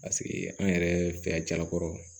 Paseke an yɛrɛ fɛ yan jalakɔrɔw